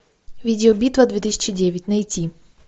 видеобитва две тысячи девять найти